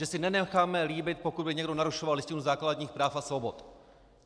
Že si nenecháme líbit, pokud by někdo narušoval Listinu základních práv a svobod.